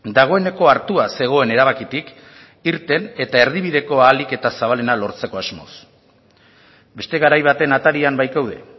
dagoeneko hartua zegoen erabakitik irten eta erdibideko ahalik eta zabalena lortzeko asmoz beste garai baten atarian baikaude